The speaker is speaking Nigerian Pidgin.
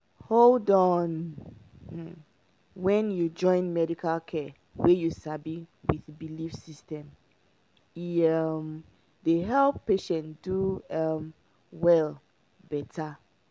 hold on — um when you join medical care wey you sabi with belief system e um dey help patient do um well better.